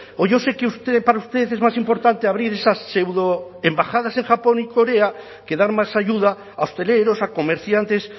o yo sé que para usted es más importante abrir esas pseudoembajadas en japón y corea que dar más ayuda a hosteleros a comerciantes